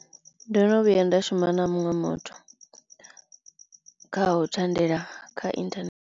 Ndo no vhuya nda shuma na muṅwe muthu kha u thandela kha inthanethe.